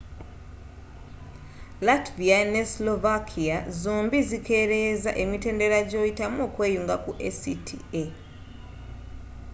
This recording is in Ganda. latvia ne slovakia zombie zikereyeza emitendera gyoyitamu okweyunga ku acta